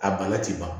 A bana ti ban